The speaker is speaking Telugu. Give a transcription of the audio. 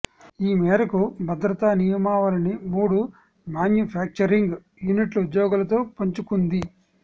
ఈ మేరకు భద్రతా నియమావళిని మూడు మాన్యుఫ్యాక్చరింగ్ యూనిట్ల ఉద్యోగులతో పంచుకుంది